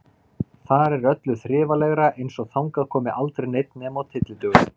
Þar er öllu þrifalegra, eins og þangað komi aldrei neinn nema á tyllidögum.